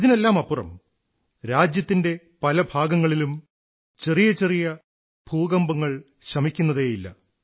ഇതിനെല്ലാമപ്പുറം രാജ്യത്തിന്റെ പല ഭാഗങ്ങളിലും ചെറിയ ചെറിയ ഭൂകമ്പങ്ങൾ ശമിക്കുന്നതേയില്ല